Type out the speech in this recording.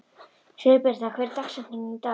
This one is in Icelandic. Sigurbirna, hver er dagsetningin í dag?